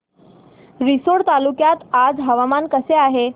रिसोड तालुक्यात आज हवामान कसे आहे